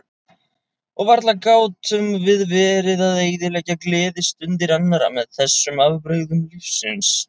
Og varla gátum við verið að eyðileggja gleðistundir annarra með þessum afbrigðum lífsins.